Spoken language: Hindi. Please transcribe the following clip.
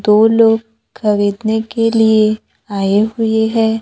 दो लोग खरीदने के लिए आए हुए है।